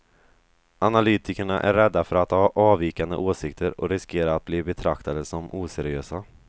Analytikerna är rädda för att ha avvikande åsikter och riskera att bli betraktade som oseriösa.